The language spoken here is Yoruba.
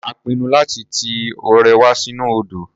A pinnu láti ti ọ̀rẹ́ wa sínú odò.